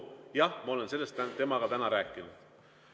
Jah, ma olen sellest temaga täna rääkinud.